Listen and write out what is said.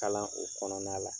Kalan o kɔnɔna la.